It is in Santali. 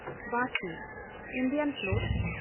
ᱛᱤᱨᱭᱟᱹ (ᱵᱷᱟᱨᱛᱤᱭᱚ ᱛᱤᱨᱭᱟᱹ)